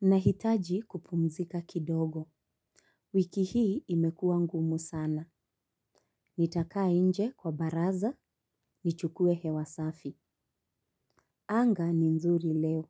Nahitaji kupumzika kidogo. Wiki hii imekuwa ngumu sana. Nitakaa nje kwa baraza, nichukue hewa safi. Anga ni nzuri leo,